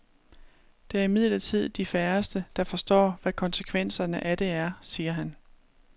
Det er imidlertid de færreste, der forstår, hvad konsekvenserne af det er, siger han.